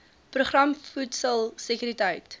program voedsel sekuriteit